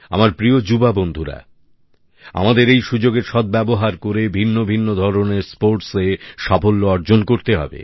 আমার প্রিয় যুবা বন্ধুরা আমাদের এই সুযোগের সদ্ব্যবহার করে ভিন্ন ভিন্ন ধরনের স্পোর্টসে সাফল্য অর্জন করতে হবে